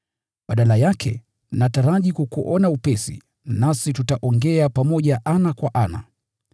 Badala yake, nataraji kukuona upesi, nasi tutaongea pamoja ana kwa ana.